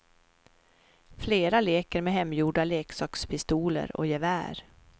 Flera leker med hemgjorda leksakspistoler och gevär.